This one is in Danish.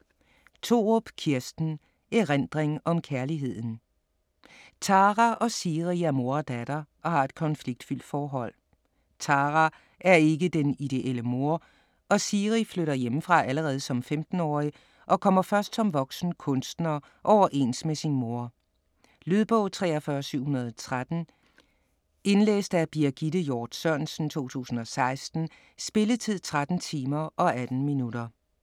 Thorup, Kirsten: Erindring om kærligheden Tara og Siri er mor og datter og har et konfliktfyldt forhold. Tara er ikke den ideelle mor, og Siri flytter hjemmefra allerede som 15-årig og kommer først som voksen kunstner overens med sin mor. Lydbog 43713 Indlæst af Birgitte Hjort Sørensen, 2016. Spilletid: 13 timer, 18 minutter.